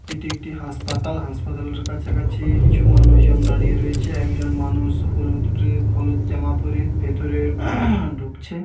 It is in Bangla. এটি একটি হাসপাতাল. হাসপাতালের কাছাকাছি-ই কিছু মানুষজন দাঁড়িয়ে রয়েছে ।একজন মানুষ হলুদ ড্রেস হলুদ জামা পরে ভেতরে ঢুকছে।